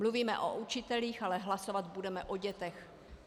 Mluvíme o učitelích, ale hlasovat budeme o dětech.